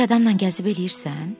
Bir adamla gəzib eləyirsən?